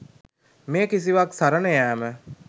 මේ කිසිවක් සරණ යෑම